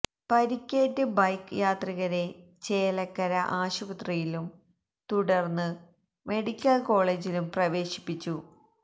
പരിക്കേറ്റ് ബൈക്ക് യാത്രികരെ ചേലക്കര ആശുപത്രിയിലും തുടർന്ന് മെഡിക്കൽ കോളേജിലും പ്രവേശിപ്പിച്ചു